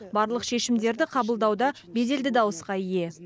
барлық шешімдерді қабылдауда беделді дауысқа ие